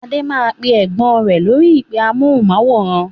Adé máa pè Ẹ̀gbọ́n rẹ lórí "ìpè amohùn-máwórán".